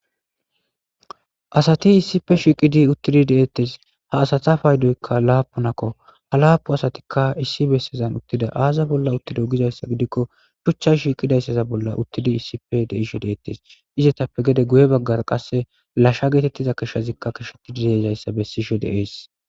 Dsati issipe shiiqidi uttidi deettes ha asati paydoykka laapunakko ha laapu asatikka issi bessezan uttida aaza bolla uttido gizayssa gidikko shuchcha shiiqidayssaza bolla uttidi issipe deisho deettes izetappe gede guye baggar qasse lashsha geetettiza keshshazikka keshetidi deezayssa bessisho de7es.